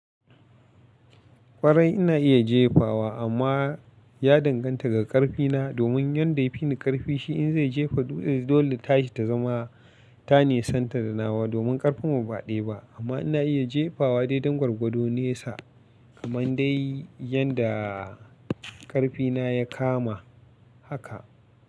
Kwarai ina iya jefawa amma ya danganta ga ƙarfina, domin yanda ya fi ni ƙarfi shi in zai jefa dole tashi ta zama tane santar da nawa domin ƙarfinmu ba ɗaya ba. Amma ina iya jefawa dai dangwagwado nesa kamar dai yanda ƙarfina ya kama haka.